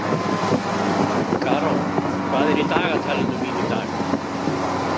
Karó, hvað er í dagatalinu mínu í dag?